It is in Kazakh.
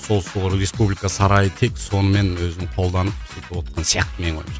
сол сол республика сарайы тек сонымен өзін қолданып сөйтівотқан сияқты менің ойымша